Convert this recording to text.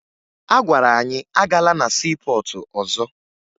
A gwara anyị agala na siipọọtụ ọzọ